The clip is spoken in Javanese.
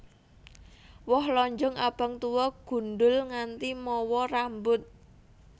Woh lonjong abang tuwa gundhul nganti mawa rambut